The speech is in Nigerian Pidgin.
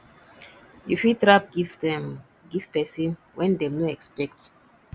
you fit wrap gift um give person wen dem no expect